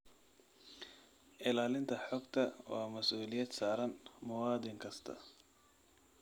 Ilaalinta xogta waa masuuliyad saaran muwaadin kasta.